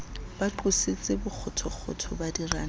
ba qositse bokgothokgotho ba diranta